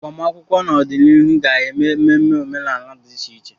Agbamakwụkwọ n'ọdịnihu ga-eme ememe omenala dị iche iche.